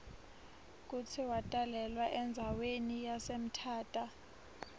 kutsi watalelwa endzawani yase mthatha